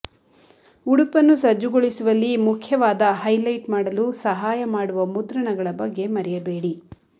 ಉಡುಪನ್ನು ಸಜ್ಜುಗೊಳಿಸುವಲ್ಲಿ ಮುಖ್ಯವಾದ ಹೈಲೈಟ್ ಮಾಡಲು ಸಹಾಯ ಮಾಡುವ ಮುದ್ರಣಗಳ ಬಗ್ಗೆ ಮರೆಯಬೇಡಿ